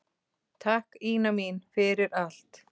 Takk, Ína mín, fyrir allt.